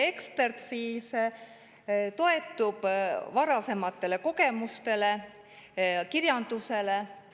Ekspert siis toetub varasematele kogemustele ja kirjanduse.